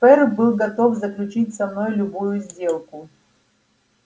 ферл был готов заключить со мной любую сделку